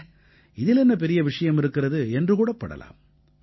அட இதில் என்ன பெரிய விஷயம் இருக்கிறது என்று கூடப்படலாம்